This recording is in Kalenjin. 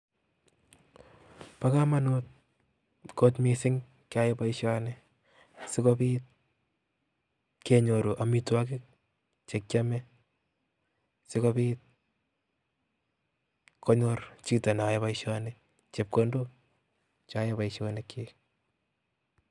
Bo komonut kot missing keia boishonii asikobiit, kenyoru amitwogiik chekiome sikobiit konyor chito neyoe boishoni chepkondok cheyoen boishonikyik